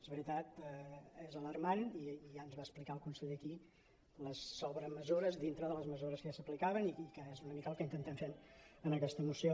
és veritat és alarmant i ja ens va explicar el conseller aquí les sobremesures dintre de les mesures que ja s’aplicaven i que és una mica el que intentem fer en aqueta moció